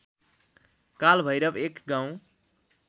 कालभैरव एक गाउँ